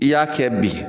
I y'a kɛ bi